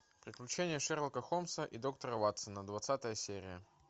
приключения шерлока холмса и доктора ватсона двадцатая серия